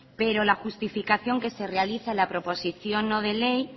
pero la justificación que se realiza en la proposición no de ley